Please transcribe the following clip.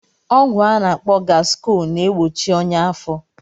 Ọgwụ a na-akpọ gaskọl na-egbochi ọnyá afọ.